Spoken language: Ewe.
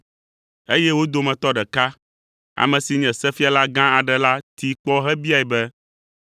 eye wo dometɔ ɖeka, ame si nye sefiala gã aɖe la tee kpɔ hebiae be,